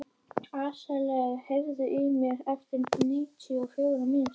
Asael, heyrðu í mér eftir níutíu og fjórar mínútur.